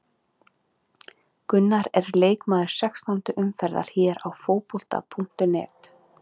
Gunnar er leikmaður sextándu umferðar hér á Fótbolta.net.